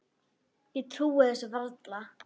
Ég trúi þessu varla